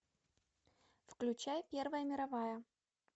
включай первая мировая